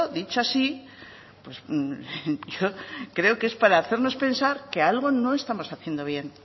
dicho así pues yo creo que es para hacernos pensar que algo no estamos haciendo bien